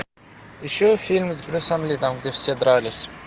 ищу фильм с брюсом ли там где все дрались